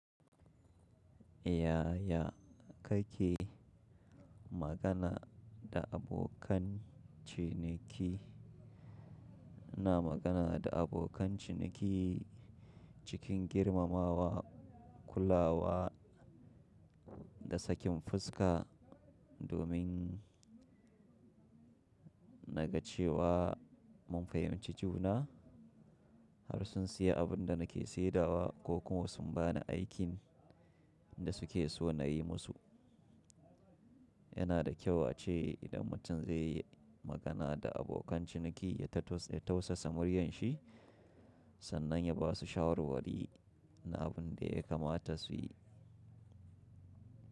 Yaya kake magana da abokan ciniki? Ina magana da abokan ciniki cikin girmamawa, kullawa da sakin fuska domin na ga cewa mun fahimci juna har sun siya abunda nake saidawa ko kuma sun bani aikin da suke so na yi musu. Yana da kyau ace idan mutum zai yi magana da abokan ciniki ya tausasa muryar shi, sannan ya basu shawarwari na abin da ya kamata su yi.